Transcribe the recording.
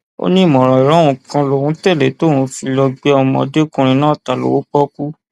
ó ní ìmọràn ọrẹ òun kan lòun tẹlẹ tí òun fi lọọ gbé ọmọdékùnrin náà ta lọwọ pọọkú